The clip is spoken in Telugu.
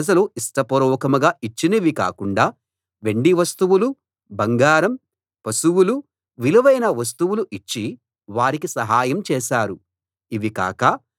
మిగిలి ఉన్న ప్రజలు ఇష్టపూర్వకంగా ఇచ్చినవి కాకుండా వెండి వస్తువులు బంగారం పశువులు విలువైన వస్తువులు ఇచ్చి వారికి సహాయం చేశారు